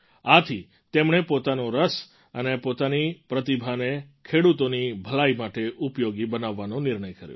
આથી તેમણે પોતાનો રસ અને પોતાની પ્રતિભાને ખેડૂતોની ભલાઈ માટે ઉપયોગી બનાવવાનો નિર્ણય કર્યો